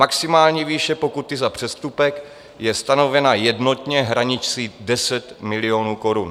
Maximální výše pokuty za přestupek je stanovena jednotně hranicí 10 milionů korun.